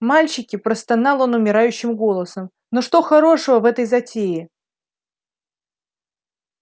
мальчики простонал он умирающим голосом ну что хорошего в этой затее